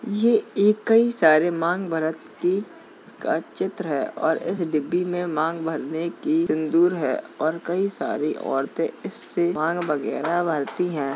ये एक कई सारी माँग भरत की का चित्र है और इस डिब्बी में माँग भरने की सिन्दूर है और कई सारी औरते इससे माँग वगैरह भरती हैं।